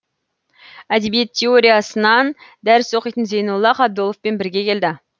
әдебиет теориясынан дәріс оқитын зейнолла қабдоловпен бірге келді